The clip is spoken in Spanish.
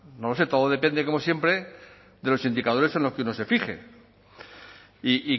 no lo sé todo depende como siempre de los indicadores en los que uno se fije y